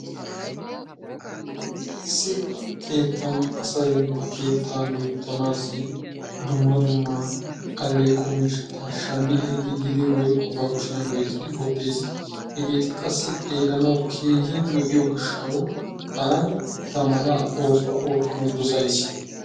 Issi keettan asay ba keettaa loyttanaassi dumma dumma alleeqo miishshata shammi ehidi gidin woykko ba kushiyan loyttidi wottes. Hegeeti qassi xeellanawu keehin lo'iyo gishshawu taani eta malaa oosuwa oottanawu dosayis.